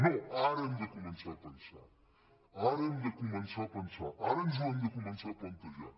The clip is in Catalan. no ara hem de començar a pensar ara hem de començar a pensar ara ens ho hem de començar a plantejar